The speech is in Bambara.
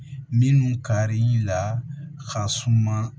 Minnu karili la ka suma